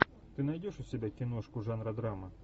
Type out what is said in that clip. ты найдешь у себя киношку жанра драма